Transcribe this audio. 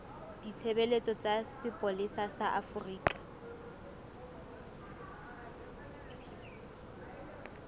ditshebeletso tsa sepolesa sa afrika